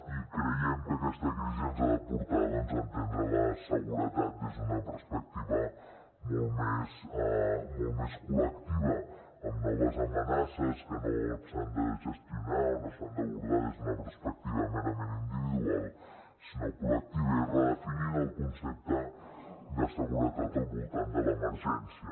i creiem que aquesta crisi ens ha de portar doncs a entendre la seguretat des d’una perspectiva molt més col·lectiva amb noves amenaces que no s’han de gestionar o no s’han d’abordar des d’una perspectiva merament individual sinó col·lectiva i redefinint el concepte de seguretat al voltant de l’emergència